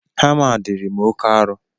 Hama a dịri m oke arọ